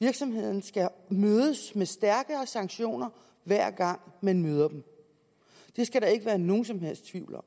virksomheden skal mødes med stærkere sanktioner hver gang man møder dem det skal der ikke være nogen som helst tvivl om